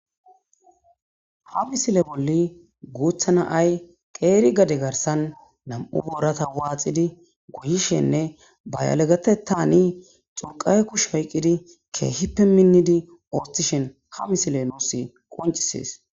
Ha misile bolli guuthana ay qeeri gade garsan nam'u borata waaxidi guyishenne bayalegatetani xurqae kush hayqqidi keehippe minnidi ooshthishen ha misile nuus qoncisees.